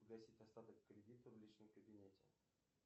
погасить остаток кредита в личном кабинете